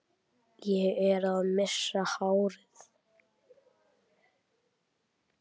Það var alveg víst.